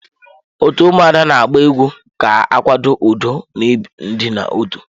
Otu ụmụada na agba egwu ga akwado udo na idina otu.